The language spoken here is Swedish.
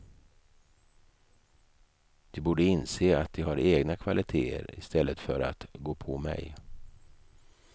De borde inse att de har egna kvaliteter istället för att gå på mig.